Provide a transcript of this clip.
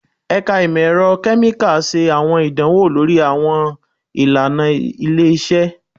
Ẹka Imọ-ẹrọ Kemikali ṣe awọn idanwo lori awọn ilana ile-iṣẹ